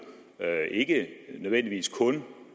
ikke nødvendigvis kun